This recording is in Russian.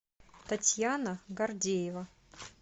татьяна гордеева